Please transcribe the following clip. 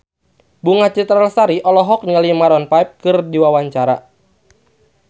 Bunga Citra Lestari olohok ningali Maroon 5 keur diwawancara